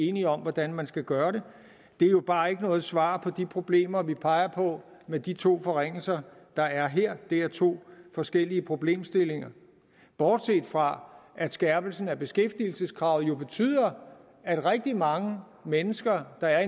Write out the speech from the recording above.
enige om hvordan man skal gøre det det er jo bare ikke noget svar på de problemer vi peger på med de to forringelser der er her det er to forskellige problemstillinger bortset fra at skærpelsen af beskæftigelseskravet jo betyder at rigtig mange mennesker der er